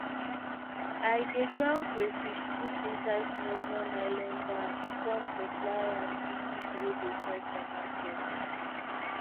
i dey ground crayfish put inside small small nylon bags come supply am give people wey dey sell for market